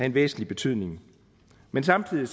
en væsentlig betydning men samtidig